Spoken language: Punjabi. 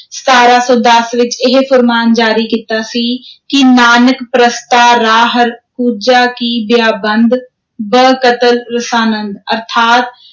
ਸਤਾਰਾਂ ਸੌ ਦਸ ਵਿਚ ਇਹ ਫ਼ੁਰਮਾਨ ਜਾਰੀ ਕੀਤਾ ਸੀ ਕਿ ਨਾਨਕ ਪ੍ਰਸਤਾਂ ਰਾ ਹਰ ਕੂਜਾ ਕਿ ਬਿਯਾਬੰਦ, ਬ-ਕਤਲ ਰਸਾਨੰਦ, ਅਰਥਾਤ,